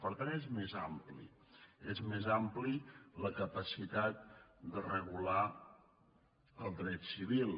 per tant és més ampli és més àmplia la capacitat de regular el dret civil